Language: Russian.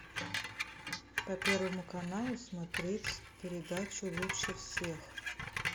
по первому каналу смотреть передачу лучше всех